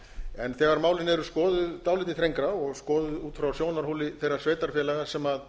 en þegar málin eru skoðuð dálítið þrengra og skoðuð út frá sjónarhóli þeirra sveitarfélaga sem